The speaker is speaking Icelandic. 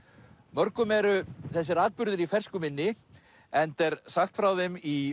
mörgum eru þessir atburðir í fersku minni enda er sagt frá þeim í